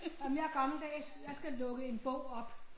Ej men jeg er gammeldags jeg skal lukke en bog op